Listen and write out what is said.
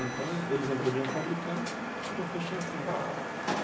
Então, eles não podiam fabricar, então, iam fechar a fábrica.